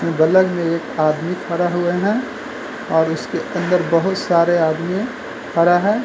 बलग में एक आदमी खड़ा हुए हैं और उसके अंदर बहोत सारे आदमी खड़ा हैं।